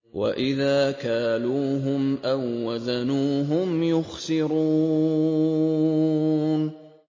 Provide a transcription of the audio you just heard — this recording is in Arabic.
وَإِذَا كَالُوهُمْ أَو وَّزَنُوهُمْ يُخْسِرُونَ